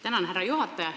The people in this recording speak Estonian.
Tänan, härra juhataja!